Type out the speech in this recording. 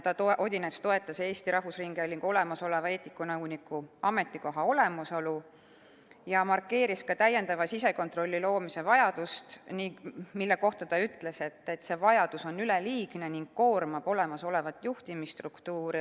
Odinets toetas ka Eesti Rahvusringhäälingu eetikanõuniku ametikoha olemasolu ja markeeris täiendava sisekontrolli loomise vajadust, mille kohta ta ütles, et see on üleliigne ning koormab olemasolevat juhtimisstruktuuri.